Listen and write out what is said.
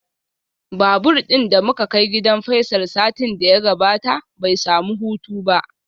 Babur din da muka kai gidan Faisal satin da ya gabata bai samu hutu ba.